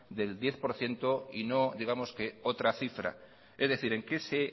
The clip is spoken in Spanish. del diez por ciento y no digamos que otra cifra es decir en qué se